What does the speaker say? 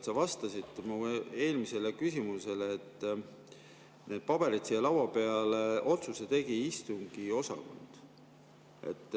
Sa vastasid mu eelmisele küsimusele, et need paberid siia laua peale tõi, selle otsuse tegi istungiosakond.